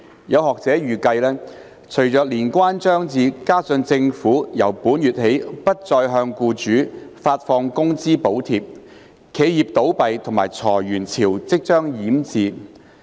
有學者預計，隨着年關將至，加上政府由本月起不再向僱主發放工資補貼，企業倒閉及裁員潮即將淹至。